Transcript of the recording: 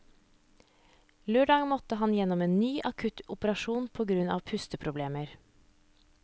Lørdag måtte han gjennom en ny, akutt operasjon på grunn av pusteproblemer.